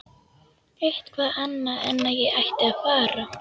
Eitthvað annað en að ég ætti að fara.